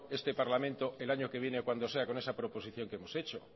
este parlamento el año que viene o cuando sea con esa proposición que hemos hecho